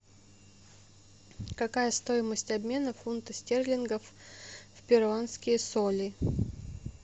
какая стоимость обмена фунта стерлингов в перуанские соли